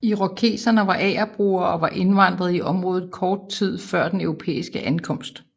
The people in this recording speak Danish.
Irokeserne var agerbrugere og var indvandret i området kort tid før europæernes ankomst